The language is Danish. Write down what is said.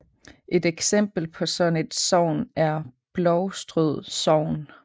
Et eksempel på sådan et sogn er Blovstrød sogn